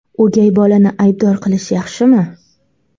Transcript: O‘gay bolani aybdor qilish yaxshimi?